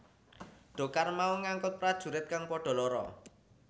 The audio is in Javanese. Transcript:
Dhokar mau ngangkut prajurit kang padha lara